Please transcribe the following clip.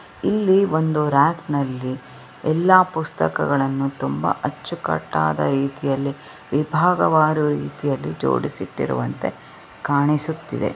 ಇಲ್ಲಿ ಒಂದು ರ‍್ಯಾಕ್ ಅಲ್ಲಿ ಎಲ್ಲಾ ಪುಸ್ತಕಗಳು ತುಂಬಾ ಅಚ್ಚುಕಟ್ಟಾಗಿ ರೀತಿಯಲ್ಲಿ ವಿಭಾಗ ಮಾಡುವ ರೀತಿಯಲ್ಲಿ ಜೋಡಿಸಿರುವಂತೆ ಕಾಣಿಸುತ್ತಿದೆ.